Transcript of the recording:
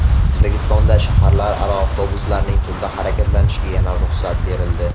O‘zbekistonda shaharlararo avtobuslarning tunda harakatlanishiga yana ruxsat berildi.